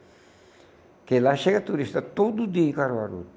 Porque lá chega turista todo dia em Caruaru.